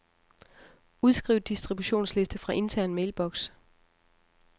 Udskriv distributionsliste fra intern mailbox.